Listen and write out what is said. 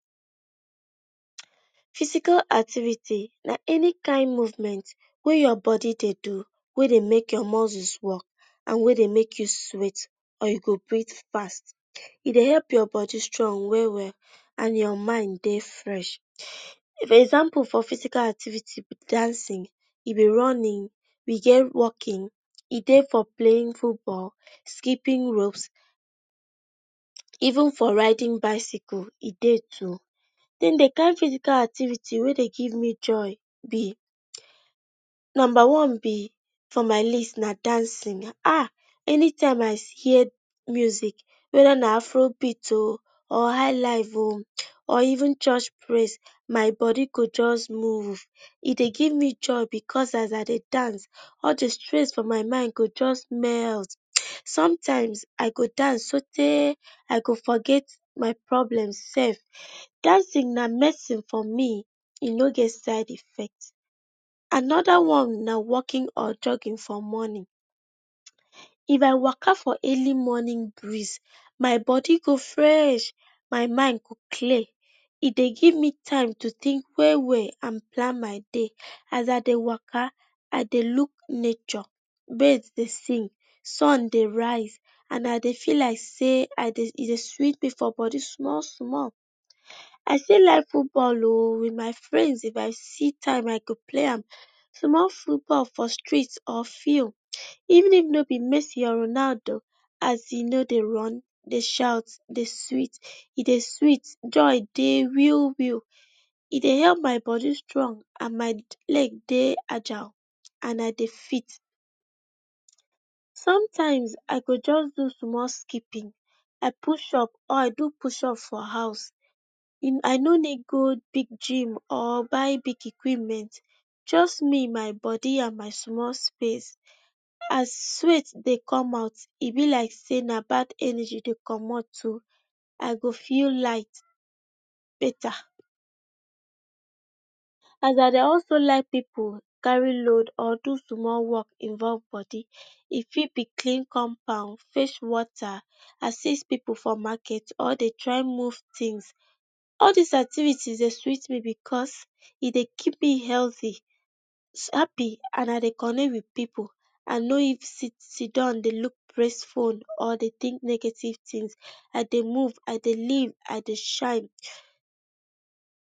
Physical activity na any kind movement wey your bodi dey do wey dey make your muscles work. And weydey make you sweet and you go brit fast, e dey help your bodi strong we-we and your mind dey fresh. Example for physical activity, e be dancin, e be runnin, we get walkin, e dey for playin football, skippin rope, even for riding bicycle e dey too. Den the kind physical activity wey dey give me joy be Nomba one be: for my list na dancing, any time I hear music weda na afro beat o, or high life o, or even church praise, my bodi go just move, e dey give me joy because as I dey dance, all the stress for my mind go just melt, sometime so tey I go forget my problem sef dancin na medicine for me, eno get side effect. Anoda one na walkin or jugging for mornin, if I waka for earli morning breez, my bodi go fresh, my imd go clear,e dey give me time to tink we-we and plan my day. As I dey waka I dey luk nature wey dey sing, sun dey raise and I dey feel like sey e dey sweet me for bodi small-small. I still like futball o, with my frends if I see time I go pley am small futball for street or field, even doo no be Mesi or Ronaldo, as e no dey run dey shout dey, dey sweet, joy dey real-real. E dye help my bodi strong and my leg dey agile and I dey fit. Sometimes, I go just do small skipin or I do push up for house, I no need go big dream or buy big equipment for house, just me and my bodi and my small space, as sweat dey come out e be like sey e like sey an bad energy dey comot o, I go feel light beta. And I dey also like pipu kari load or do small work involve bodi, e fit be clean compound, fech wota, asist pipu for maket or dey try move tins, all dis activities dey sweet me because e dey keep me heldy, happy and I dey connect with pipu, I no sidan dey luk stressful, or dey tink negative tins. I dey move, I dey live, I dey shine.